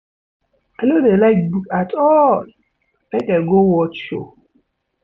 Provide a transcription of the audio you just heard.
I no dey like book at all, make I go watch show.